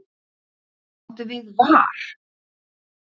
Hvað áttu við var?